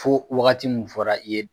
Fo wagati min fɔra i ye